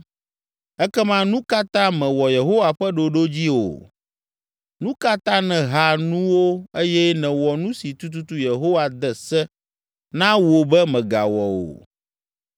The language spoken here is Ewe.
Ekema nu ka ta mèwɔ Yehowa ƒe ɖoɖo dzi o? Nu ka ta nèha nuwo eye nèwɔ nu si tututu Yehowa de se na wò be mègawɔ o?”